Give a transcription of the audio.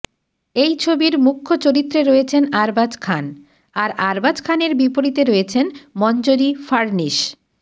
এই ছবির মুখ্য চরিত্রে রয়েছেন আরবাজ খান আর আরবাজ খানের বিপরীতে রয়েছেন মঞ্জরি ফাড়নিস